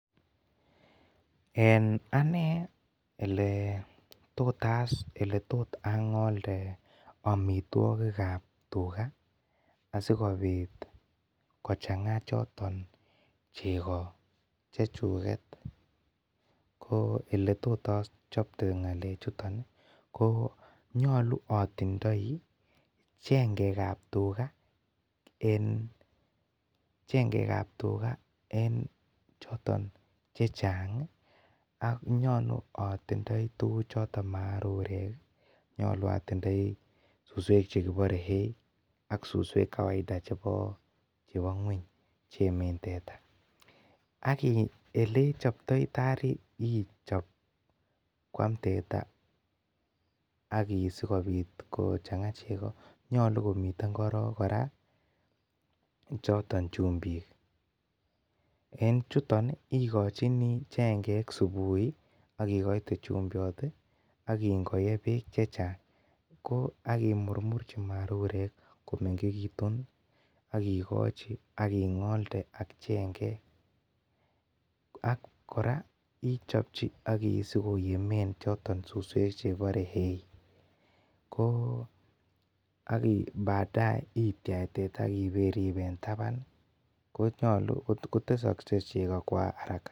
En anei eletot ang'olde amituakik kab tuga asiko chang'a choton chego chego chechuget ko eletotachate ng'alechu ko nyalu atindoi chengekab tuga en chechekab tuga en , chengekab tuga en , choton checheng ak nyolu atindoi tuguk choton marurek ih nyolu atindoi susuek chekibore hay ih ak susuek kawaida chebo ngueny cheiemen teta ak ih elechobtai taar ih chob Kuam teta aki ih sikobit kochang'a chego ih , nyolu komiten kororon kora chumbik en chuton ih ikochini chengek subuiakikoite chumbiot ih, akiingoe bek chechang aki murmur chi marurek komengekitun akikochi aking'olde, chengek ak kora ichobchi sikoyemen choton susuek chekibore hay. koo badae itiach teta akiberib en taban kotesaksei chego.